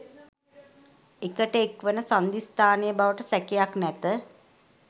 එකට එක්වන සන්ධිස්ථානය බවට සැකයක් නැත